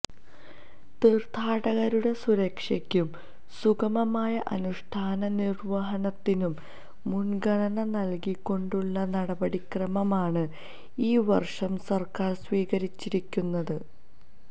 തീര്ഥാടകരുടെ സുരക്ഷക്കും സുഗമമായ അനുഷ്ഠാനനിര്വഹണത്തിനും മുന്ഗണന നല്കിക്കൊണ്ടുള്ള നടപടിക്രമമാണ് ഈ വര്ഷം സര്ക്കാര് സ്വീകരിച്ചിരിക്കുന്നത്